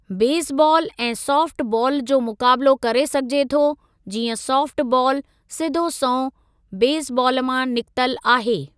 Baseball ऐं softball जो मुक़ाबिलो करे सघिजे थो जीअं साफ़्ट बालु सिधो संओं बेसबाल मां निकितल आहे।